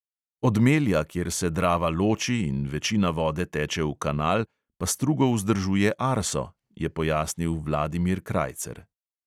"Od melja, kjer se drava loči in večina vode teče v kanal, pa strugo vzdržuje arso," je pojasnil vladimir krajcer.